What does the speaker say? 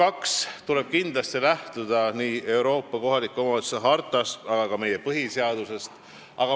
Teisalt tuleb kindlasti lähtuda nii Euroopa kohaliku omavalitsuse hartast kui ka meie põhiseadusest.